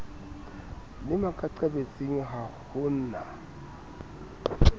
le makaqabetsing ha ho na